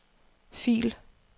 fil